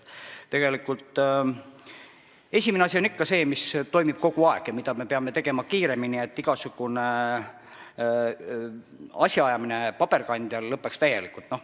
Esimene asi on ikka see, mis toimub kogu aeg ja mida me peame tegema kiiremini: igasugune asjaajamine paberkandjal peab täielikult lõppema.